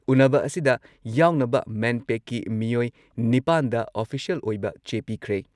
ꯎꯟꯅꯕ ꯑꯁꯤꯗ ꯌꯥꯎꯅꯕ ꯃꯦꯟꯄꯦꯛꯀꯤ ꯃꯤꯑꯣꯏ ꯅꯤꯄꯥꯟꯗ ꯑꯣꯐꯤꯁꯤꯌꯦꯜ ꯑꯣꯏꯕ ꯆꯦ ꯄꯤꯈ꯭ꯔꯦ ꯫